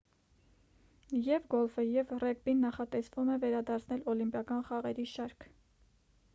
եվ գոլֆը և ռեգբին նախատեսվում է վերադարձնել օլիմպիական խաղերի շարք